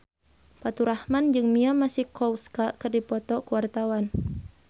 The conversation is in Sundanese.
Faturrahman jeung Mia Masikowska keur dipoto ku wartawan